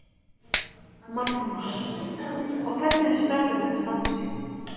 Magnús: Og hvernig eru strákarnir að standa sig?